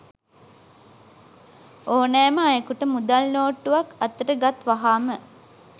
ඕනෑම අයෙකුට මුදල් නෝට්ටුවක් අතට ගත් වහාම